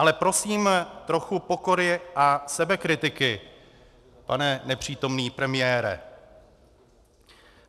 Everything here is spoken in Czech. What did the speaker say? Ale prosím trochu pokory a sebekritiky, pane nepřítomný premiére.